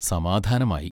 സമാധാനമായി.